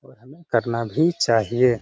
करना भी चाहिए। .